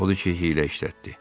Odur ki, hiylə işlətdi.